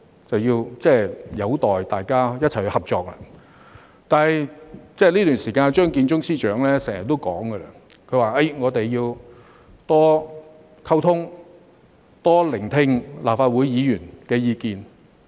這便有待大家一起合作，而在這段時間，張建宗司長也經常說要多溝通，多聆聽立法會議員的意見。